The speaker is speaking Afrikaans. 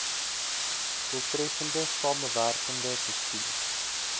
doeltreffende samewerkende bestuur